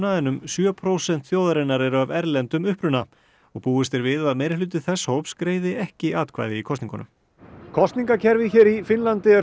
en um sjö prósent þjóðarinnar eru af erlendum uppruna búist er við að meirihluti þess hóps greiði ekki atkvæði í kosningunum kosningakerfið hér í Finnlandi er